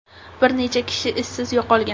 Bir necha kishi izsiz yo‘qolgan.